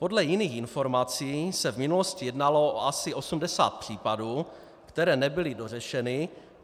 Podle jiných informací se v minulosti jednalo o asi 80 případů, které nebyly dořešeny.